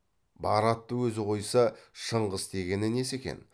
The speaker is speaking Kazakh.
бар атты өзі қойса шыңғыс дегені несі екен